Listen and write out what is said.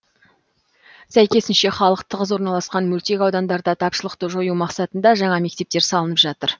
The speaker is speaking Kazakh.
сәйкесінше халық тығыз орналасқан мөлтек аудандарда тапшылықты жою мақсатында жаңа мектептер салынып жатыр